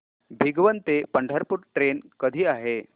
भिगवण ते पंढरपूर ट्रेन कधी आहे